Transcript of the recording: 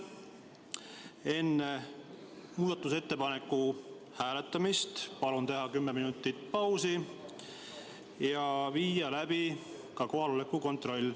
Enne muudatusettepaneku hääletamist palun teha kümneminutiline paus ja seejärel viia läbi ka kohaloleku kontroll.